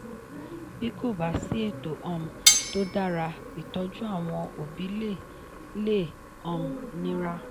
bí kò bá sí ètò um tó dára ìtọ́jú àwọn òbí le le um nira.